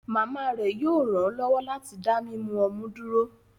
Mama rẹ yoo ranlọwọ lati da mimu ọmú duro